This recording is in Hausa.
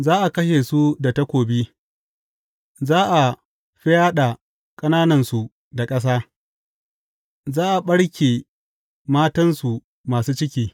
Za a kashe su da takobi; za a fyaɗa ƙananansu da ƙasa, za a ɓarke matansu masu ciki.